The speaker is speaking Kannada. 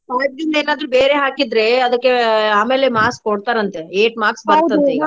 starting ಏನಾದ್ರು ಬೇರೆ ಹಾಕಿದ್ರೆ ಅದಕ್ಕೆ ಆಮೇಲೆ marks ಕೊಡ್ತಾರಂತೆ eight marks ಬರುತಂತಿಗಾ